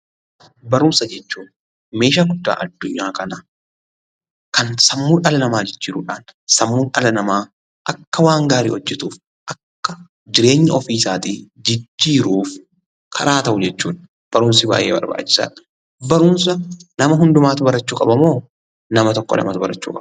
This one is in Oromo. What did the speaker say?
Barumsa jechuun meeshaa guddaa addunyaa kanaa kan sammuu dhala namaa jijjiirudhaan sammuun dhala namaa akka waan gaarii hojjetuuf akka jireenya ofiisaatii jijjiiruuf karaa ta'u jechuudha. Barumsi baay'ee barbaachisaadha. Barumsa nama hundumaatu barachuu qabamoo nama tokko lamatu barachuu qaba?